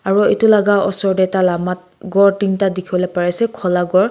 aro etu laga osor te tala mat ghor tinta dikhi wole pari ase khola ghor.